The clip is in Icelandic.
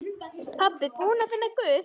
Pabbi búinn að finna Guð!